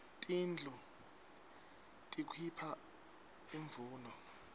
tindlu tikuipha imvuno